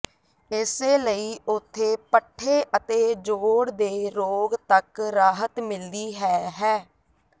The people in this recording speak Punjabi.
ਇਸੇ ਲਈ ਉਥੇ ਪੱਠੇ ਅਤੇ ਜੋਡ਼ ਦੇ ਰੋਗ ਤੱਕ ਰਾਹਤ ਮਿਲਦੀ ਹੈ ਹੈ